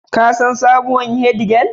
Kun san sabuwar Head girl